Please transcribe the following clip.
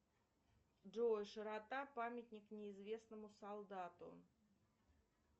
джой широта памятник неизвестному солдату